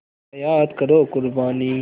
ज़रा याद करो क़ुरबानी